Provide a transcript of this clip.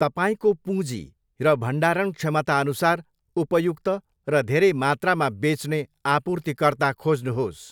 तपाईँको पुञ्जी र भण्डारण क्षमताअनुसार उपयुक्त र धेरै मात्रामा बेच्ने आपूर्तिकर्ता खोज्नुहोस्।